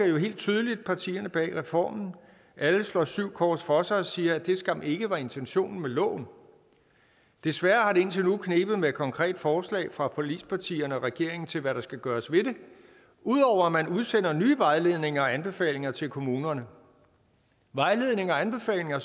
jo helt tydeligt partierne bag reformen alle slår syv kors for sig og siger at det skam ikke var intentionen med loven desværre har det indtil nu knebet med konkrete forslag fra forligspartierne og regeringen til hvad der skal gøres ved det ud over at man udsender nye vejledninger og anbefalinger til kommunerne vejledninger og anbefalinger